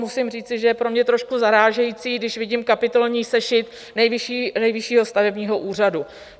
Musím říci, že je pro mě trošku zarážející, když vidím kapitolní sešit Nejvyššího stavebního úřadu.